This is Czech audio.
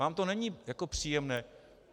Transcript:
Vám to není jako příjemné.